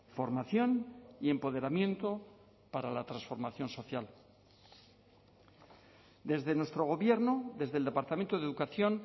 formación y empoderamiento para la transformación social desde nuestro gobierno desde el departamento de educación